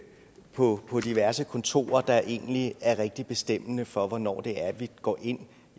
på på diverse kontorer der egentlig er rigtig bestemmende for hvornår det er at vi går ind